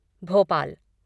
Bhopal